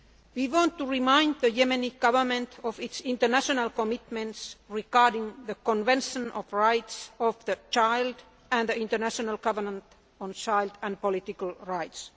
We want to remind the Yemeni Government of its international commitments regarding the Convention on the Rights of the Child and the International Covenant on Civil and Political Rights.